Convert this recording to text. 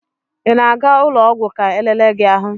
Ị na-aga ụlọ ọgwụ ka elele gi ahụ?